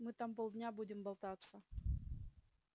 мы там полдня будем болтаться